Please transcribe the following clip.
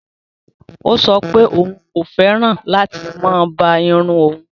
Ọ̀ sọ̀ pẹ̀ ọun kò fẹ́ràn láti má bá ìrùn ọun